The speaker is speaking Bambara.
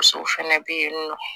Musow fɛnɛ be yen nɔ